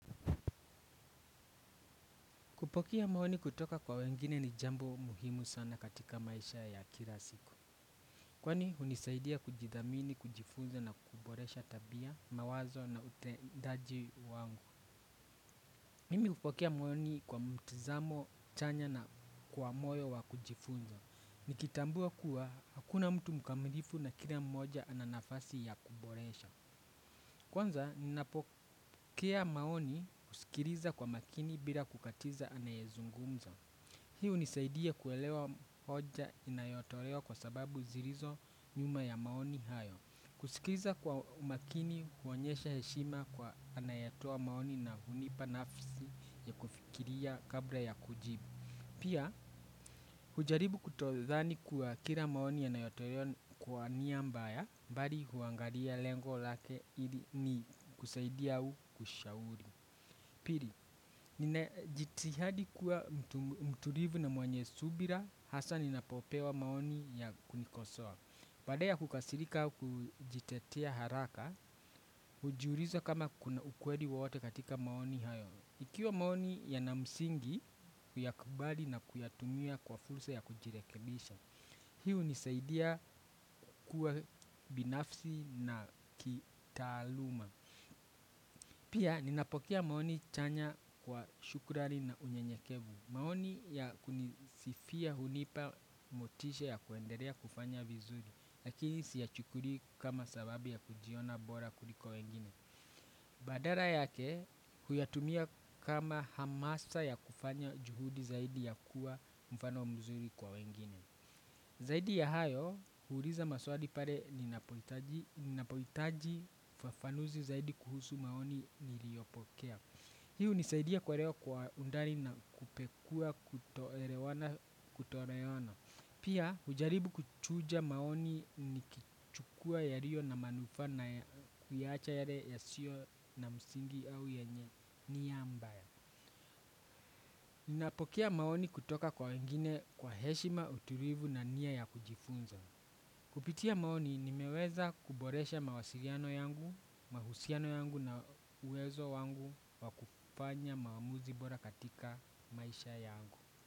Kupokea maoni kutoka kwa wengine ni jambo muhimu sana katika maisha ya kila siku. Kwani hunisaidia kujidhamini, kujifunza na kuboresha tabia, mawazo na utendaji wangu. Mimi hupokea maoni kwa mtizamo, chanya na kwa moyo wa kujifunza. Nikitambua kuwa, hakuna mtu mukamilifu na kila mmoja ananafasi ya kuboresha. Kwanza, ninapokea maoni kusikiriza kwa makini bila kukatiza anayezungumza. Hi hunisaidia kuelewa hoja inayotolewa kwa sababu zirizo nyuma ya maoni hayo. Kusikiza kwa umakini huonyesha heshima kwa anayatoa maoni na hunipa nafisi ya kufikiria kabla ya kujibu. Pia, hujaribu kutodhani kwa kira maoni yanayotolewa kwa niambaya, mbari huangaria lengo lake ili ni kusaidia hu kushauri. Piri, ninajitihadi kuwa mturivu na mwenye subira, hasa ninapopewa maoni ya kunikosoa. Badea kukasirika kujitetia haraka, hujiuriza kama kuna ukweli wowote katika maoni hayo. Ikiwa maoni ya namsingi, kuyakubali na kuyatumia kwa fulsa ya kujirekebisha. Hi hunisaidia kuwa binafsi na kitaaluma. Pia ninapokea maoni chanya kwa shukurani na unye nyekevu. Maoni ya kunisifia hunipa motisha ya kuenderea kufanya vizuri. Lakini siyachukuri kama sababu ya kujiona bora kuliko wengine. Badala yake huyatumia kama hamasa ya kufanya juhudi zaidi ya kuwa mfano mzuri kwa wengine. Zaidi ya hayo, huuliza maswali pare ninapohitaji fafanuzi zaidi kuhusu maoni niliopokea. Hiu hunisaidia kuerewa kwa undani na kupekuwa kutoerewana kutoerewana. Pia, ujaribu kuchuja maoni nikichukua ya rio na manufana kuyacha yale ya sio na msingi au yenye ni ya mbaya. Ninapokea maoni kutoka kwa wengine kwa heshima uturivu na nia ya kujifunza. Kupitia maoni nimeweza kuboresha mawasiliano yangu mahusiano yangu na uwezo wangu wa kufanya maamuzi bora katika maisha yangu.